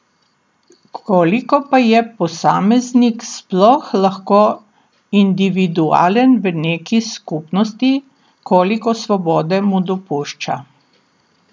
Koliko pa je posameznik sploh lahko individualen v neki skupnosti, koliko svobode mu dopušča?